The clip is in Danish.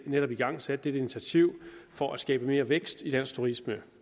netop igangsat dette initiativ for at skabe mere vækst i dansk turisme